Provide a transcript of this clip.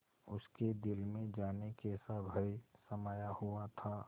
उसके दिल में जाने कैसा भय समाया हुआ था